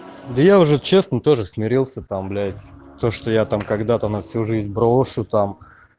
да я уже честно тоже смирился там блять то что я там когда-то на всю жизнь брошу там